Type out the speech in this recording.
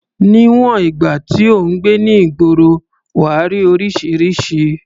Níwọ̀n ìgbà tí ò ń gbé ní ìgboro, wà á rí oríṣiríṣi.